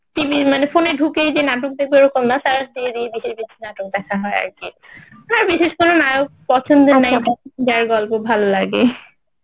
TV মানে phone এ ঢুকেই যে নাটক দেখবে ওরকম না সারা দিয়ে বিশেষ কিছু নাটক দেখা হয় আর বিশেষ কোনো নায়ক পছন্দ নেই যার গল্প ভালো লাগে